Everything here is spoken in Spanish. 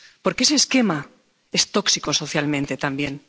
Porque ese esquema es tóxico socialmente también.